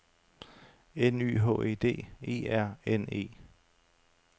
N Y H E D E R N E